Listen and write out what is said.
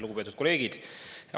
Lugupeetud kolleegid!